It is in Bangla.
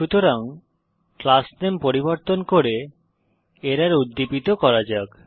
সুতরাং ক্লাস নেম পরিবর্তন করে এরর উদ্দীপিত করা যাক